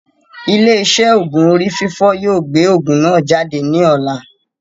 Ilé iṣé òògùn orí fífọ́ yóò gbé òògùn náà jáde ní ọ̀la